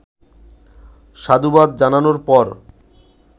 সাধুবাদ জানানোর পর